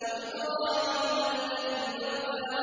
وَإِبْرَاهِيمَ الَّذِي وَفَّىٰ